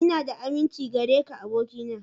Ina da aminci gare ka abokina.